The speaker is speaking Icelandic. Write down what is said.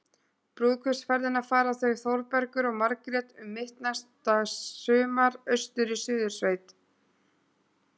Brúðkaupsferðina fara þau Þórbergur og Margrét um mitt næsta sumar- austur í Suðursveit.